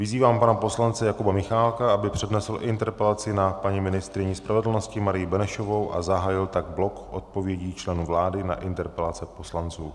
Vyzývám pana poslance Jakuba Michálka, aby přednesl interpelaci na paní ministryni spravedlnosti Marii Benešovou a zahájil tak blok odpovědí členů vlády na interpelace poslanců.